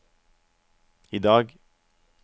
idag